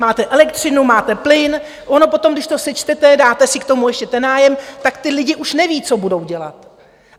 Máte elektřinu, máte plyn, ono potom když to sečtete, dáte si k tomu ještě ten nájem, tak ti lidé už nevědí, co budou dělat.